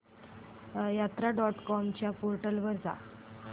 यात्रा dot com च्या portal वर जा